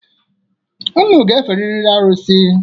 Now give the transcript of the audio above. Unu ga-eferiri arụsị.